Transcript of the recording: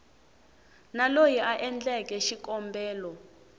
na loyi a endleke xikombelo